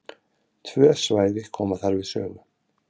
Tvö svæði koma þar við sögu.